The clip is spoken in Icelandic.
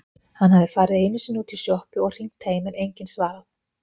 Hann hafði farið einusinni útí sjoppu og hringt heim en enginn svarað.